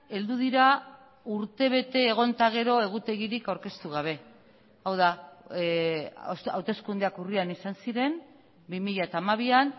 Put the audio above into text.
heldu dira urtebete egon eta gero egutegirik aurkeztu gabe hau da hauteskundeak urrian izan ziren bi mila hamabian